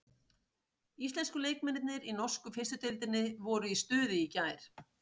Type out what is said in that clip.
Íslensku leikmennirnir í norsku fyrstu deildinni voru í stuði í gær.